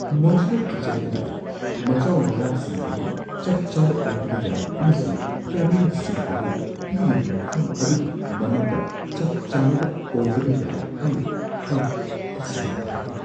Modular kitchen ꯑꯗꯨꯒꯤ ꯃꯆꯥꯎ-ꯃꯔꯥꯛꯁꯤꯡ ꯑꯗꯨ ꯆꯞ ꯆꯥꯕ ꯑꯣꯏꯗꯕ ꯌꯥꯏ, ꯑꯃꯁꯨꯡ ꯀꯦꯕꯤꯅꯦꯠꯁꯤꯡ ꯑꯗꯨ ꯄꯤꯔꯤꯕ ꯃꯐꯝ ꯑꯗꯨꯒꯤ ꯃꯅꯨꯡꯗ ꯆꯞ ꯆꯥꯅꯕ ꯑꯣꯏꯗꯕ ꯌꯥꯏ ꯍꯥꯏꯅ ꯑꯩ ꯇꯁꯦꯡꯅ ꯄꯥꯈꯠꯂꯤ꯫